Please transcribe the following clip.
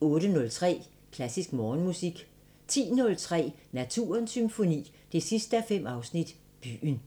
08:03: Klassisk Morgenmusik 10:03: Naturens Symfoni 5:5 – Byen